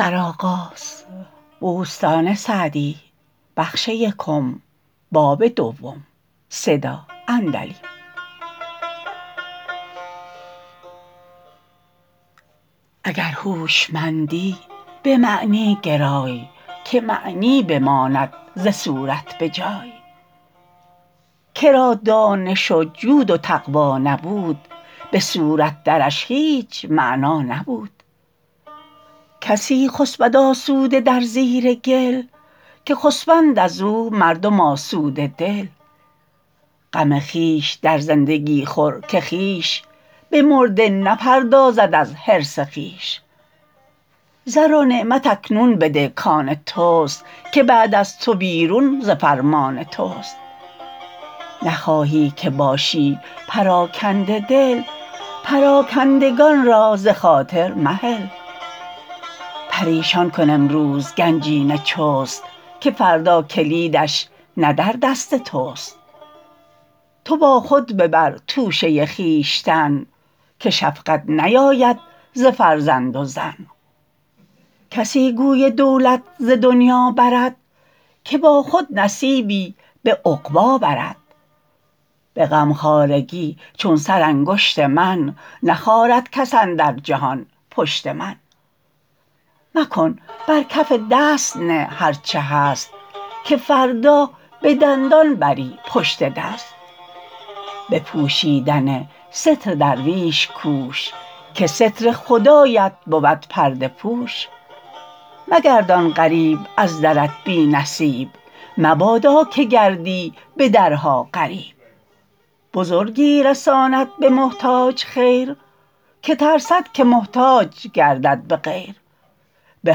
اگر هوشمندی به معنی گرای که معنی بماند ز صورت به جای که را دانش و جود و تقوی نبود به صورت درش هیچ معنی نبود کسی خسبد آسوده در زیر گل که خسبند از او مردم آسوده دل غم خویش در زندگی خور که خویش به مرده نپردازد از حرص خویش زر و نعمت اکنون بده کان تست که بعد از تو بیرون ز فرمان تست نخواهی که باشی پراکنده دل پراکندگان را ز خاطر مهل پریشان کن امروز گنجینه چست که فردا کلیدش نه در دست تست تو با خود ببر توشه خویشتن که شفقت نیاید ز فرزند و زن کسی گوی دولت ز دنیا برد که با خود نصیبی به عقبی برد به غمخوارگی چون سرانگشت من نخارد کس اندر جهان پشت من مکن بر کف دست نه هر چه هست که فردا به دندان بری پشت دست به پوشیدن ستر درویش کوش که ستر خدایت بود پرده پوش مگردان غریب از درت بی نصیب مبادا که گردی به درها غریب بزرگی رساند به محتاج خیر که ترسد که محتاج گردد به غیر به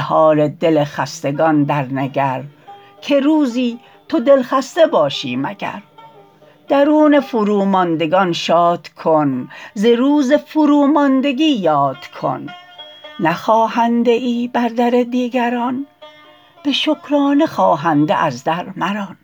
حال دل خستگان در نگر که روزی تو دلخسته باشی مگر درون فروماندگان شاد کن ز روز فروماندگی یاد کن نه خواهنده ای بر در دیگران به شکرانه خواهنده از در مران